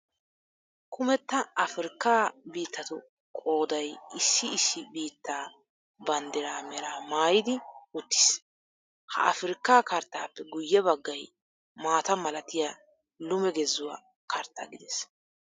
Kumetta Afriikkaa biittatu qooday issi issi biittaa banddiraa meraa maayidi uttiis. Ha Afriikkaa karttaappe guyye baggay maata malatiya lume gezuwa karttaa gides.